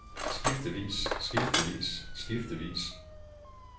skiftevis skiftevis skiftevis